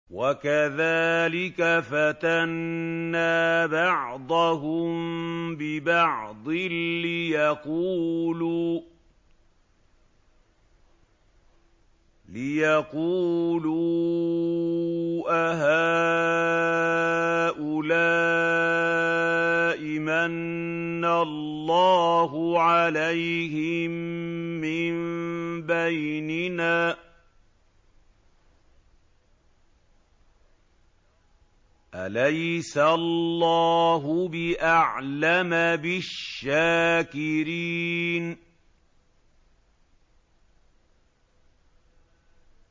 وَكَذَٰلِكَ فَتَنَّا بَعْضَهُم بِبَعْضٍ لِّيَقُولُوا أَهَٰؤُلَاءِ مَنَّ اللَّهُ عَلَيْهِم مِّن بَيْنِنَا ۗ أَلَيْسَ اللَّهُ بِأَعْلَمَ بِالشَّاكِرِينَ